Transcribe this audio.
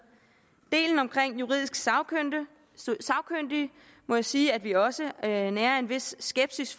delen omkring juridisk sagkyndige må jeg sige at vi også nærer nærer en vis skepsis